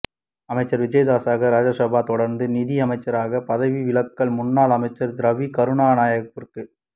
அமைச்சர் விஜயதாஸ ராஜபக்ஷ தொடர்ந்தும் நீதியமைச்சராகப் பதவி வகித்தால் முன்னாள் அமைச்சர் ரவி கருணாநாயக்கவிற்கு